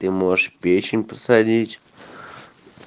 ты можешь печень посадить